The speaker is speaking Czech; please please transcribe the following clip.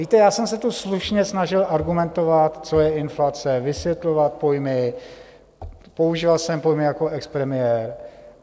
Víte, já jsem se tu slušně snažil argumentovat, co je inflace, vysvětlovat pojmy, používal jsem pojmy jako expremiér.